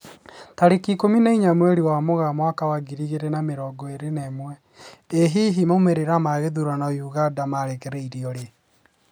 Tarĩki ikũmi na inya mweri wa Mũgaa mwaka wa ngiri igĩri na mĩrongo ĩri na ĩmwe, ĩ hihi maumĩrĩra ma gĩthurano Uganda makarekererio rĩ?